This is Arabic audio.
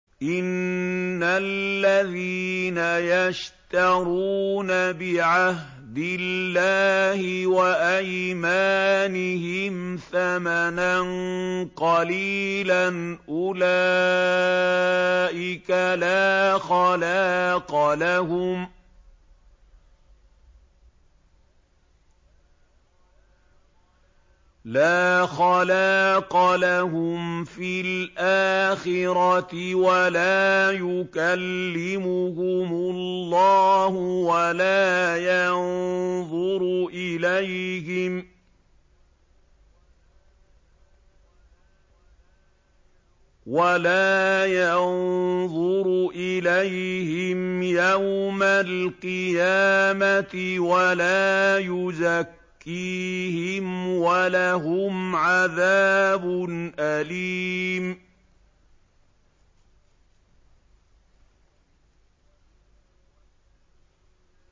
إِنَّ الَّذِينَ يَشْتَرُونَ بِعَهْدِ اللَّهِ وَأَيْمَانِهِمْ ثَمَنًا قَلِيلًا أُولَٰئِكَ لَا خَلَاقَ لَهُمْ فِي الْآخِرَةِ وَلَا يُكَلِّمُهُمُ اللَّهُ وَلَا يَنظُرُ إِلَيْهِمْ يَوْمَ الْقِيَامَةِ وَلَا يُزَكِّيهِمْ وَلَهُمْ عَذَابٌ أَلِيمٌ